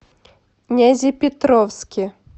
нязепетровске